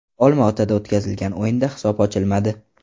Olma-otada o‘tkazilgan o‘yinda hisob ochilmadi.